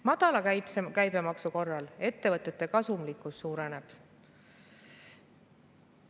Madala käibemaksu korral ettevõtete kasumlikkus suureneb.